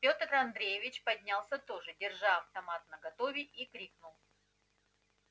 пётр андреевич поднялся тоже держа автомат наготове и крикнул